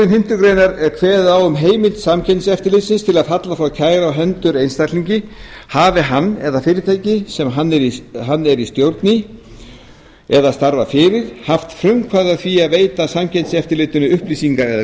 fimmtu grein er kveðið á um heimild samkeppniseftirlitsins til að falla frá kæru á hendur einstaklingi hafi hann eða fyrirtæki sem hann er í stjórn í eða starfar fyrir haft frumkvæði að því að veita samkeppniseftirlitinu upplýsingar eða